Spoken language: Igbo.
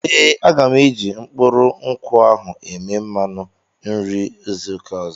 Ee, aga m eji mkpụrụ nkwụ ahụ eme mmanụ nri izu ụka ọzọ.